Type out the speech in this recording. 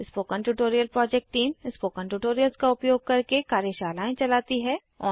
spoken tutorial project team spoken tutorials का उपयोग करके कार्यशालाएं चलाती है